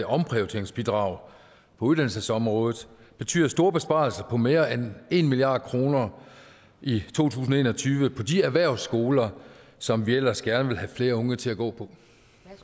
omprioriteringsbidrag på uddannelsesområdet betyder store besparelser på mere end en milliard kroner i to tusind og en og tyve på de erhvervsskoler som vi ellers gerne vil have flere unge til at gå